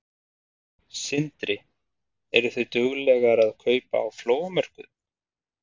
Sindri: Eru þið duglegar að kaupa á flóamörkuðum?